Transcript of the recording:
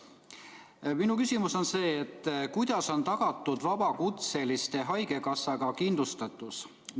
Minu küsimus on selline: kuidas on tagatud vabakutselistele haigekassa kindlustus?